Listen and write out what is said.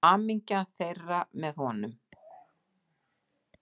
Hamingja þeirra með honum.